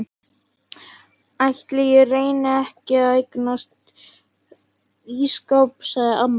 Ætli ég reyni ekki að eignast ísskáp sagði amma.